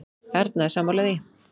Erna er sammála því.